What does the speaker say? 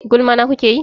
Gulma na kuke yi?